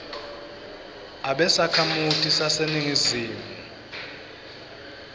abe sakhamuti saseningizimu